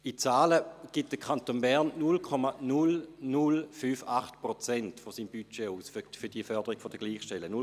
In Zahlen gibt der Kanton Bern 0,0058 Prozent seines Budgets für die Förderung der Gleichstellung aus.